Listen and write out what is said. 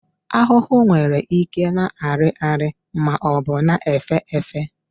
Ahụhụ nwere ike na-arị arị maọbụ na-èfé èfé.